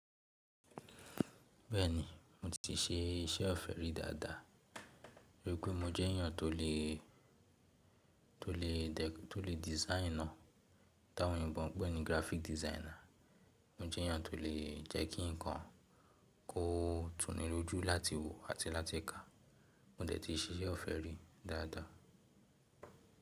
Bẹ́ẹ̀ni, mo ti ṣe iṣẹ́ ọ̀fẹ́ rí dáadáa. Rí pé mo jẹ́ èyàn tó lè, tó lè, tó lè design ná. Táwọn oyinbo ń pè ní graphic designer. Mo jẹ́ èyàn tó lè jẹ́ kí nǹkan kó tu ní lójú láti wò àti láti kà. Mo dẹ̀ ti ṣiṣẹ́ ọ̀fẹ́ rí dáadáa.